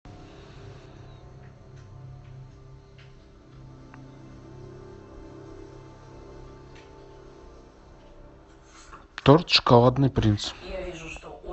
торт шоколадный принц